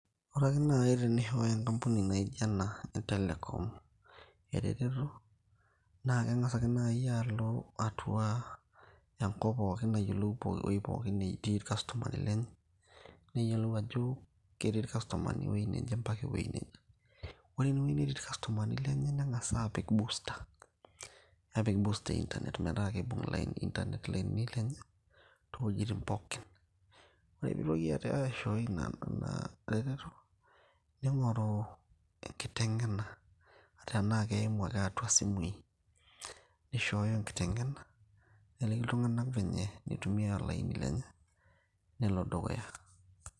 ore ake naaji tenishooyo enkampuni naijo ena e telekom eretoto naa keng'as ake naaji alo atua enkop pookin ayiolou ewoi pookin natii irkastomani lenye neyiolou ajo ketii irkastomani ewueji neje mpaka ewueji neje ore enewueji netii irkastomani lenye neng'as aapik booster nepik booster e internet metaa kiibung lain internet ilainini lenye toowuejitin pookin ore piitoki aate aishoi ina naa retoto ning'oru enkiteng'ena tenaa keimu ake atua isimui nishooyo enkiteng'ena neliki iltung'anak venye enitumia ilainini lenye nelo dukuya.